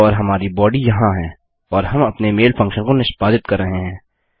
और हमारी बॉडी यहाँ है और हम अपने मेल फंक्शन को निष्पादित कर रहे हैं